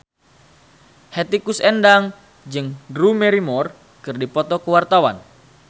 Hetty Koes Endang jeung Drew Barrymore keur dipoto ku wartawan